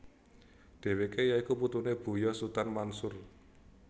Dheweke ya iku putune Buya Sutan Mansur